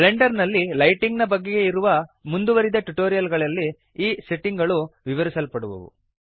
Blender ನಲ್ಲಿ lighting ನ ಬಗೆಗೆ ಇರುವ ಮುಂದುವರಿದ ಟ್ಯುಟೋರಿಯಲ್ ಗಳಲ್ಲಿ ಈ ಸೆಟ್ಟಿಂಗ್ ಗಳು ವಿವರಿಸಲ್ಪಡುವವು